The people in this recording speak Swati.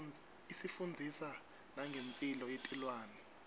isifundzisa nangemphilo yetilwane